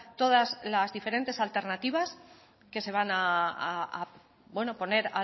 todas las diferentes alternativas que se van a bueno poner